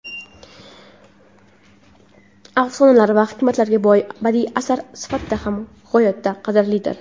afsonalar va hikmatlarga boy badiiy asar sifatida ham g‘oyatda qadrlidir.